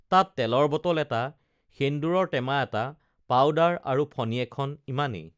তাত তেলৰ বটল এটা সেন্দুৰৰ টেমা এটা পাউদাৰ আৰু ফণি এখন ইমানেই